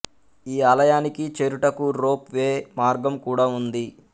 ఈ ఆలయానికి చేరుటకు రోప్ వే మార్గం కూడా ఉంది